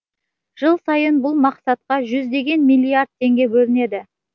жыл сайын бұл мақсатқа жүздеген миллиард теңге бөлінеді